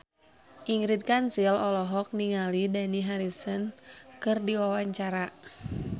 Ingrid Kansil olohok ningali Dani Harrison keur diwawancara